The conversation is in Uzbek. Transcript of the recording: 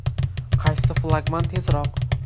Qaysi flagman tezroq?.